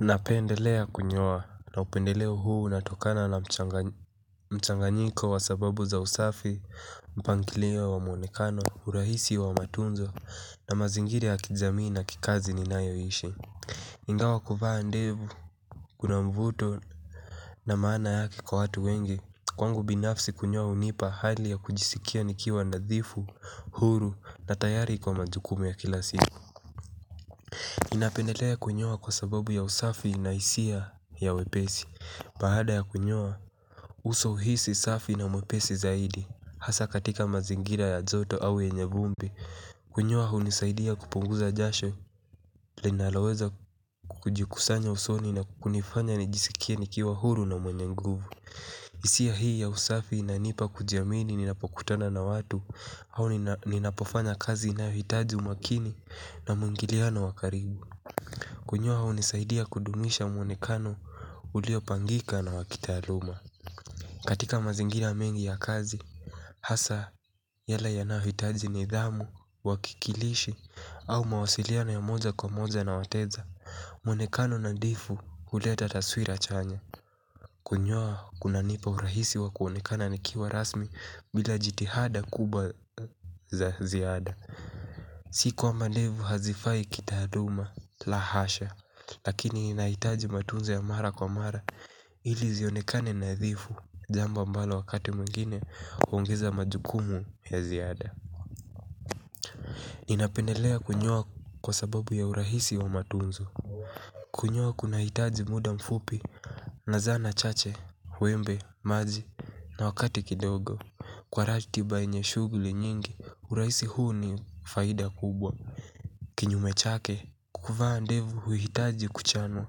Napendelea kunyoa na upendeleo huu unatokana na mchanganyiko wa sababu za usafi, mpangilio wa muonekano, urahisi wa matunzo na mazingira ya kijamii na kikazi ninayoishi. Ingawa kufaa ndevu, kuna mvuto na maana yaki kwa hatu wengi. Kwangu binafsi kunyoa unipa hali ya kujisikia nikiwa nadhifu, huru na tayari kwa majukumu ya kila siku. Ninapendelea kunyoa kwa sababu ya usafi na hisia ya wepesi. Baada ya kunyoa uso hisi safi na mwepesi zaidi hasa katika mazingira ya joto au yenye vumbi. Kunyoa hunisaidia kupunguza jasho linaloweza kukujikusanya usoni na kukunifanya nijisikie nikiwa huru na mwenye nguvu hisia hii ya usafi inanipa kujiamini ninapokutana na watu au ninapofanya kazi inayohitaji umakini na mwingiliano wa karibu. Kunyoa hunisaidia kudumisha mwonekano ulio pangika na wakitaaluma. Katika mazingina mengi ya kazi hasa yale yanayohitaji nidhamu, wakikilishi au mawasiliano wa moja kwa moja na wateja. Mwonekano nadhifu huleta taswira chanya. Kunyoa kuna nipa urahisi wa kuonekana nikiwa rasmi bila jitihada kubwa za ziada. Si kwamba ndevu hazifai kitaluma la hasha. Lakini inahitaji matunzo ya mara kwa mara ili zionekane nadhifu. Jambo mbalo wakati mwigine huongeza majukumu ya ziada. Ninapendelea kunyoa kwa sababu ya urahisi wa matunzo. Kunyoa kuna hitaji muda mfupi na zana chache, wembe, maji na wakati kidogo. Kwa ratiba yenye shuguli nyingi, urahisi huu ni faida kubwa. Kinyume chake, kuvaa ndevu huhitaji kuchanwa.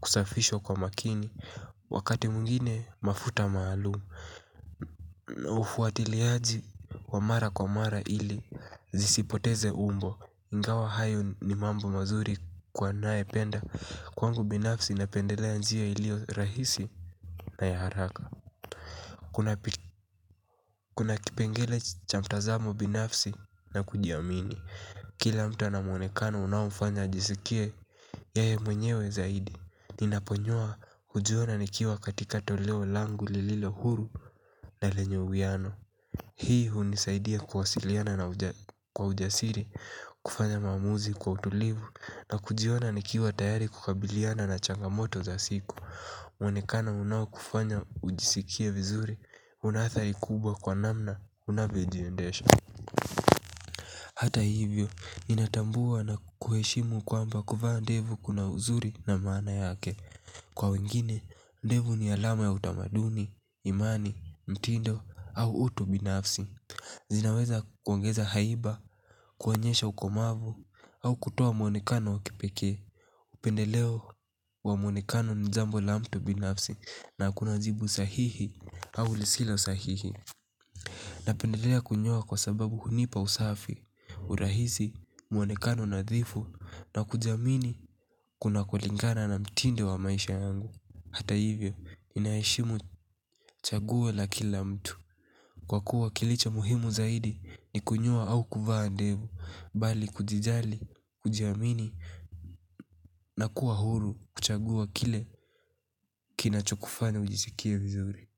Kusafishwa kwa makini. Wakati mwngine mafuta maalumu. Ufuatiliaji wa mara kwa mara ili zisipoteze umbo. Ingawa hayo ni mambo mazuri kwa nae penda. Kwangu binafsi napendelea njia iliyo rahisi na ya haraka. Kuna kipengele cha mtazamo binafsi na kujiamini. Kila mta ana mwonekano unamufanya ajiskie yeye mwenyewe zaidi. Ninaponyoa hujiona nikiwa katika toleo langu lililo huru na lenye uwiano. Hii hunisaidia kuwasiliana kwa ujasiri, kufanya maamuzi kwa utulivu na kujiona nikiwa tayari kukabiliana na changamoto za siku. Mwenekano unao kufanya ujisikie vizuri, una hatari kubwa kwa namna, unavyojiendesha. Hata hivyo, ninatambua na kuheshimu kwamba kuvaa ndevu kuna uzuri na maana yake. Kwa wengine, ndevu ni alama ya utamaduni, imani, mtindo au utu binafsi. Zinaweza kuongeza haiba, kuonyesha ukomavu au kutoa mwonekano wa kipekee. Pendeleo wa muonekano ni jambo la mtu binafsi na hakuna jibu sahihi au lisilo sahihi. Na pendelea kunyoa kwa sababu hunipa usafi, urahisi muonekano nadhifu na kujiamini kuna kulingana na mtindo wa maisha yangu. Hata hivyo inaishimu chaguo la kila mtu kwa kuwa kilichomuhimu zaidi ni kunyoa au kuvaa ndevu bali kujijali kujiamini na kuwa huru kuchagua kile kinachokufanya ujiskie vizuri.